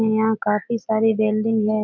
यहाँ काफी सारी बिल्डिंग है।